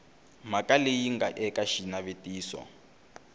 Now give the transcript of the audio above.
mhaka leyi nga eka xinavetiso